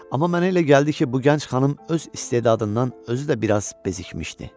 Amma mənə elə gəldi ki, bu gənc xanım öz istedadından özü də biraz bezikmişdi.